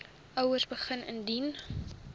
ouers begin indien